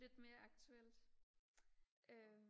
lidt mere aktuelt øhm